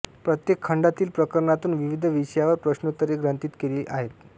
प्रत्येक खंडातील प्रकरणातून विविध विषयांवर प्रश्नोत्तरे ग्रंथित केली आहेत